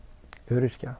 öryrkja